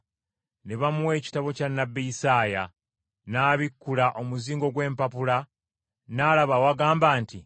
Ne bamuwa ekitabo kya nnabbi Isaaya, n’abikkula omuzingo gw’empapula n’alaba awagamba nti,